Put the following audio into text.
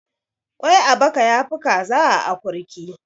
kwai a baka ya Fi kaza a akurki